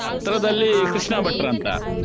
ಹತ್ರದಲ್ಲಿ ಕೃಷ್ಣ ಭಟ್ರ್ ಅಂತ.